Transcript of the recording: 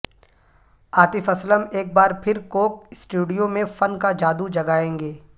عاطف اسلم ایک بار پھر کوک سٹوڈیو میں فن کا جادو جگائیں گے